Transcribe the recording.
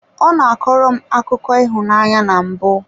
Ọ na-akọrọ m akụkọ akụkọ ịhụnanya na mbụ.